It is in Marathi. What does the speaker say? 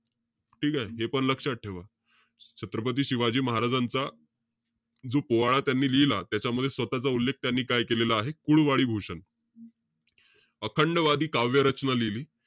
ठीकेय? हेपण लक्षात ठेवा. छत्रपती शिवाजी महाराजांचा जो पोवाडा त्यांनी लिहिला त्यामध्ये स्वतःचा उल्लेख त्यांनी काय केलेला आहे? कुळवाडी भूषण अखंडवादी काव्य रचना लिहिली.